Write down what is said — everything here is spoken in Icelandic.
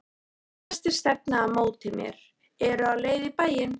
Flestir stefna á móti mér, eru á leið í bæinn.